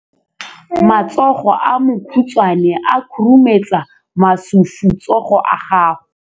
Matsogo a makhutshwane a khurumetsa masufutsogo a gago.